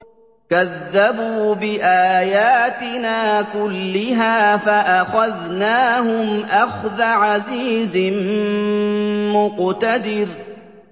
كَذَّبُوا بِآيَاتِنَا كُلِّهَا فَأَخَذْنَاهُمْ أَخْذَ عَزِيزٍ مُّقْتَدِرٍ